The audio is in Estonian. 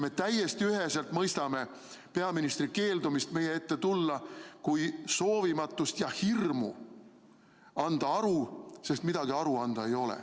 Me täiesti üheselt mõistame peaministri keeldumist meie ette tulla kui soovimatust ja hirmu anda aru, sest millestki aru anda ei ole.